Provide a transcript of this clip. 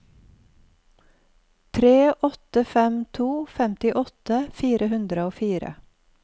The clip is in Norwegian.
tre åtte fem to femtiåtte fire hundre og fire